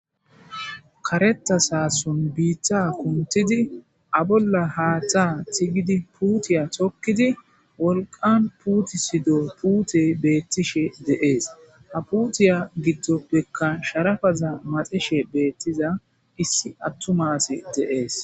kareta saason biitta kuntidi abolla haaththa tigidi puutiya tokkidi wolqan puutisido puute beettishe de'ees ha puutiya giddo ppekka sharafaza maxishe beettiza issi attumaasi dee'es